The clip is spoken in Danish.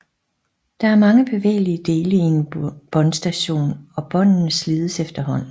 Der er mange bevægelige dele i en båndstation og båndene slides efterhånden